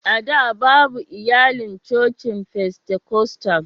A da, babu iyalan cocin Fentekostal.